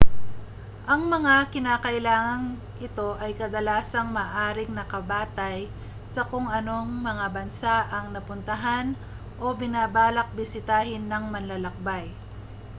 ang mga kinakailangang ito ay kadalasang maaaring nakabatay sa kung anong mga bansa ang napuntahan o binabalak bisitahin ng manlalakbay